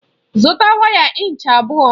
Zụta waya ịnchị abụọ!